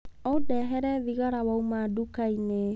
Ũndehere thigara wauma nduka-inĩ.